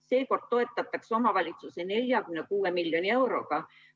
Seekord toetatakse omavalitsusi 46 miljoni euroga.